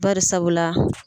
Barisabula.